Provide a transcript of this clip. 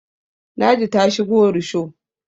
ladi ta shigo rusho